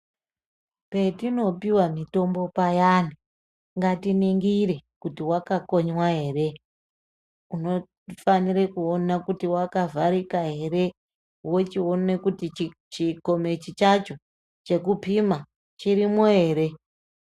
Petinopiwe mutombo payani ngatiningire kuti wakakonywa ere , unofanire kuone kuti wakavharika ere, wochione kuti chikomichi chacho chekupima chirimwo ere.